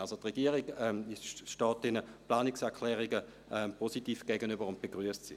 Wie gesagt: Die Regierung steht diesen Planungserklärungen positiv gegenüber und begrüsst sie.